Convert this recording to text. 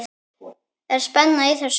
Er spenna í þessu?